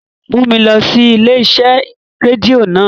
Mu mi lọ si ile-iṣẹ redio naa!